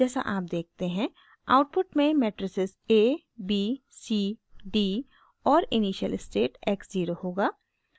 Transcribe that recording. जैसा आप देखते हैं आउटपुट में matrices a b c d और इनिशियल स्टेट x ज़ीरो होगा